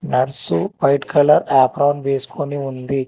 Nurse white colour apron వేసుకొని ఉంది.